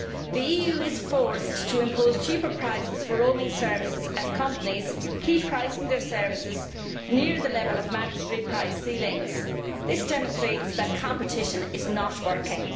The EU is forced to impose cheaper prices for roaming services as companies keep pricing their services near the level of mandatory price ceilings. This demonstrates that competition is not working